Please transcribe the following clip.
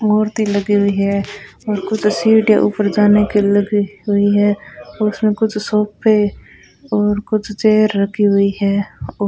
मूर्ति लगी हुई है और कुछ तस्वीरें ऊपर जाने के लगी हुई है और उसमें कुछ सोफे और कुछ चेयर रखी हुई है और --